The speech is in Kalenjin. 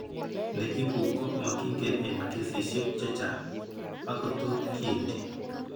Ne ibu ko making'en eng' kesisiek chechang', akot tot kiinti.